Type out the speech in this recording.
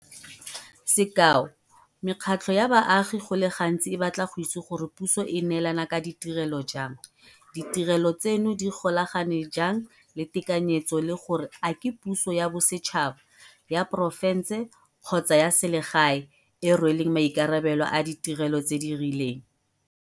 Sekao, mekgatlho ya baagi go le gantsi e batla go itse gore puso e neelana ka ditirelo jang, ditirelo tseno di golagane jang le tekanyetso le gore a ke puso ya bosetšhaba, ya porofense kgotsa ya selegae e e rweleng maikarabelo a ditirelo tse di rileng.